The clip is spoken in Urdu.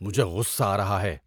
مجھے غصہ آ رہا ہے۔